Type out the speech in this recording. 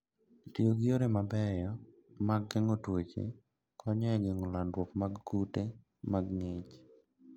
Tiyo gi yore mabeyo mag geng'o tuoche konyo e geng'o landruok mar kute mag ng`ich.